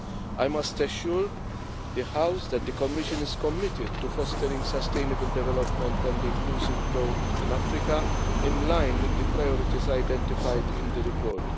I must assure the House that the Commission is committed to fostering sustainable development and inclusive growth in Africa, in line with the priorities identified in the report.